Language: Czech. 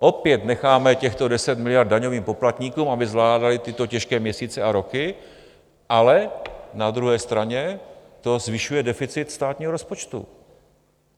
Opět necháme těchto 10 miliard daňovým poplatníkům, aby zvládali tyto těžké měsíce a roky, ale na druhé straně to zvyšuje deficit státního rozpočtu.